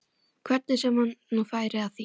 Hvernig sem hann nú færi að því.